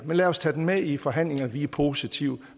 men lad os tage det med ind i forhandlingerne vi er positive